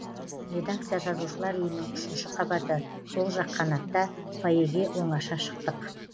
редакция жазушылар үйінің үшінші қабаты сол жақ қанатта фойеге оңаша шықтық